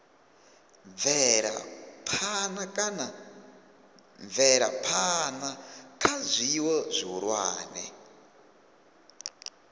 bvela phana kha zwiwo zwihulwane